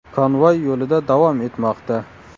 Konvoy yo‘lida davom etmoqda.